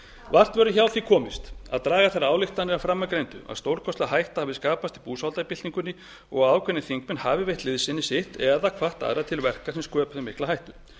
vart verður hjá því komist að draga þær ályktanir af framangreindu að stórkostleg hætta hafi skapast í búsáhaldabyltingunni og að ákveðnir alþingismenn hafi veitt liðsinni sitt eða hvatt aðra til verka sem sköpuðu mikla hættu